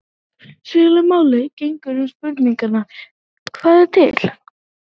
Svipuðu máli gegnir um spurninguna: Hvað er til?